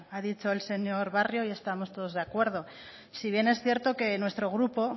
ha dicho el señor barrio ahí estamos todos de acuerdo si bien es cierto que nuestro grupo